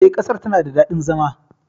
E, ƙasar tana da daɗin zama.